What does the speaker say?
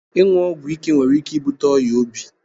Inyu ogwu ike nwere ike ibute oya obi.